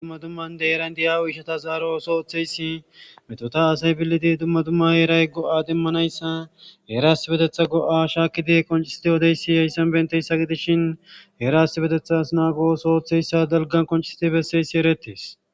Dumma dummandeheeran diyawo ishata zaaro ooso ooththeysi metota asay billidi dumma dumma heeray go'a demmanayssa heerastibetetha go'a shaakidi konciside odeyssi yayssan benteyssa gidishin heeraastibetethas naagooso ooththeyssa dalgan koncisite besseysi eretes